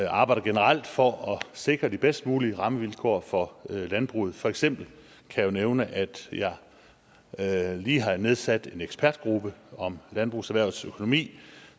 arbejder generelt for at sikre de bedst mulige rammevilkår for landbruget for eksempel kan jeg nævne at at jeg lige har nedsat en ekspertgruppe om landbrugserhvervets økonomi